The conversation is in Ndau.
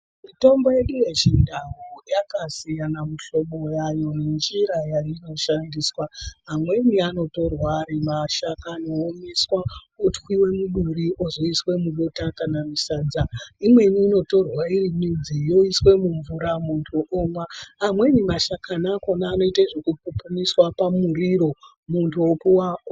Mitombo yedu yechindau yakasiyana mihlobo yayo nenjira yainoshandisa. Amweni anotorwa ari mashakani omwiswa otwiva muduri ozoiswa mubota kana musadza. Imwe inotorwa iri midzi yoiswemubvura muntu omwa. Amweni mashakani akona anoite zvekupupumiswa pamuriro muntu opuva.